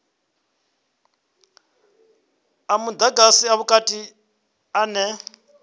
a mudagasi a vhukati ane